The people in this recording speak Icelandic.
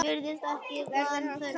Virðist ekki vanþörf á því.